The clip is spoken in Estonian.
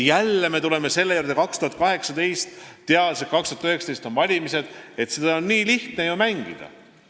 Jälle tuleme me selle juurde aastal 2018, teades, et 2019 on valimised, sest seda mängu on ju nii lihtne mängida.